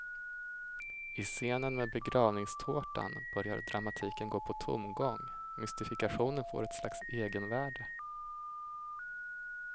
I scenen med begravningstårtan börjar dramatiken gå på tomgång, mystifikationen får ett slags egenvärde.